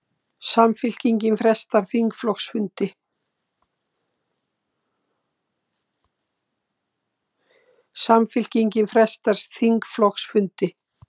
Samfylkingin frestar þingflokksfundi